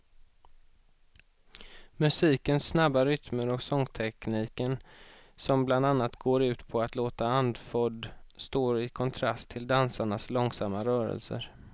Musikens snabba rytmer och sångtekniken som bland annat går ut på att låta andfådd står i kontrast till dansarnas långsamma rörelser.